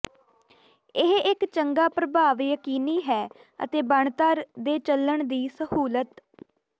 ਇਹ ਇੱਕ ਚੰਗਾ ਪ੍ਰਭਾਵ ਯਕੀਨੀ ਹੈ ਅਤੇ ਬਣਤਰ ਦੇ ਚੱਲਣ ਦੀ ਸਹੂਲਤ